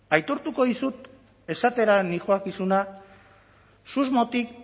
begira aitortuko dizut esatera noakizuna susmotik